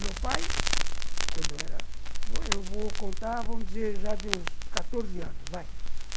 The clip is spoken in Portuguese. Meu pai, quando eu era... eu vou eu vou contar, vamos dizer, já de uns quatorze anos, vai.